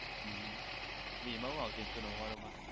હમ એમા શું આવશે એક સો નવ્વાણું મા?